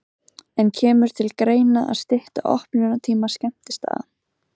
En kemur til greina að stytta opnunartíma skemmtistaða?